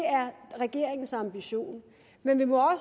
er regeringens ambition men vi må